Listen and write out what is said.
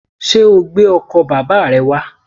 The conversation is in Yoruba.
Sé o gbé ọkò bàbá re wá?